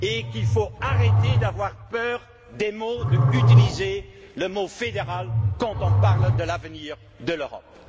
Il faut arrêter d'avoir peur des mots et peur d'utiliser le mot fédéral quand nous parlons de l'avenir de l'Europe.